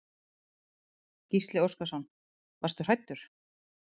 Gísli Óskarsson: Varstu hræddur?